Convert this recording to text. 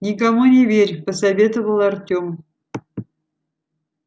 никому не верь посоветовал артём